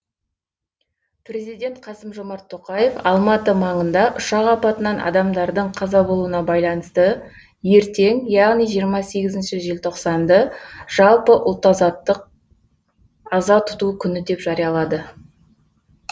президент қасым жомарт тоқаев алматы маңында ұшақ апатынан адамдардың қаза болуына байланысты ертең яғни жиырма сегізінші желтоқсанды жалпы ұлт аза тұту күні деп жариялады